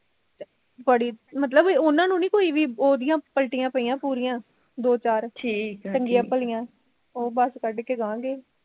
ਬੜੀ ਮਤਲਬ ਉਹਨਾਂ ਨੂੰ ਨੀ ਕੋਈ ਵੀ ਉਹਦੀਆਂ ਪਲਟੀਆਂ ਪਈਆ ਪੂਰੀਆ, ਦੋ ਚਾਰ ਚੰਗੀਆ ਭਲੀਆ ਉਹ ਬਸ ਕੱਢ ਕੇ ਗਾਹਾਂ ਗਏ